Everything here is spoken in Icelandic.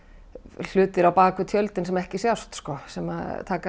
hlutir á bak við tjöldin sem ekki sjást sem taka